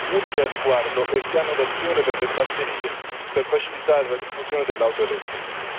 Utile al riguardo è il piano d'azione per le batterie per facilitare la diffusione dell'auto elettrica.